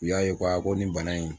U y'a ye ko a ko nin bana in